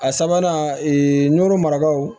A sabanan nɔrɔ marakaw